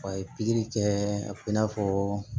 A ye pikiri kɛ a bɛ i n'a fɔ